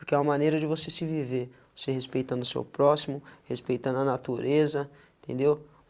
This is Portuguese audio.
Porque é uma maneira de você se viver, você respeitando seu próximo, respeitando a natureza, entendeu?